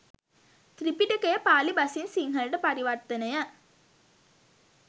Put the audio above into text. ත්‍රිපිටකය පාලි බසින් සිංහලට පරිවර්තනය